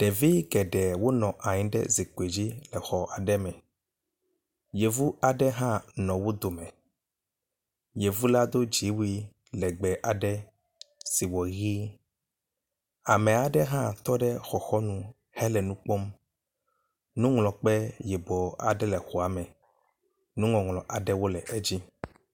Ɖevi geɖe wo nɔ anyi ɖe zikpui dzi exɔ aɖe me. Yevu aɖe hã nɔ wo dome. Yevu la do dziwu I legbe aɖe si wɔ ʋi. Ame aɖe hã tɔ ɖe xɔxɔnu hele nu kpɔm. Nuŋlɔkpe yibɔ aɖe le xɔa me nuŋɔŋlɔ aɖewo le edzi.